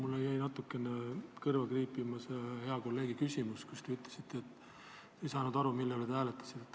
Aga mul jäi natuke kõrva kriipima hea kolleegi küsimus, mille peale te ütlesite, et ei saanud aru, mille üle tuleks hääletada.